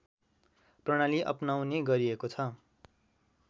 प्रणाली अपनाउने गरिएको छ